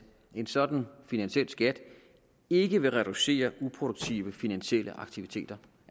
en sådan finansiel skat ikke vil reducere uproduktive finansielle aktiviteter